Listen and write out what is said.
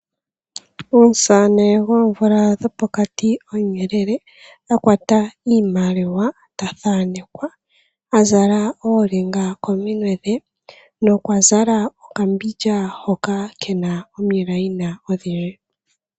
Om'saane goomvula dhopokati omuyelele , a kwata iimaliwa ta thanekwa, a zala oolinga kominwe dhe nokwa zala okambindja hoka kena omilayina odhindji.